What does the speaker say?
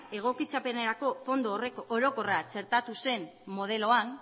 egokitzapenerako fondo orokorra txertatu zen modeloan